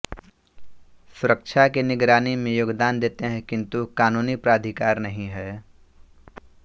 सुरक्षा की निगरानी में योगदान देते हैं किन्तु कानूनी प्राधिकार नहीं है